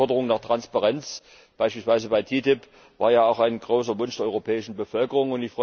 Die Forderung nach Transparenz, beispielsweise bei der TTIP, war ja auch ein großer Wunsch der europäischen Bevölkerung.